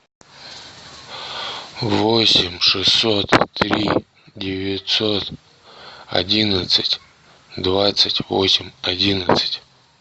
восемь шестьсот три девятьсот одиннадцать двадцать восемь одиннадцать